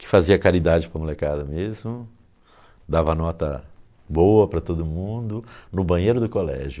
que fazia caridade para a molecada mesmo, dava nota boa para todo mundo, no banheiro do colégio.